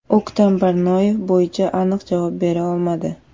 O‘ktam Barnoyev bo‘yicha aniq javob bera olmadi.